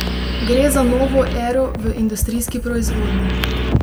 Gre za novo ero v industrijski proizvodnji.